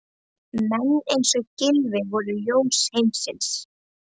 Menn eins og Gylfi voru ljós heimsins.